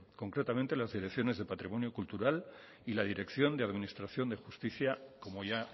concretamente en las direcciones de patrimonio cultural y la dirección de administración de justicia como ya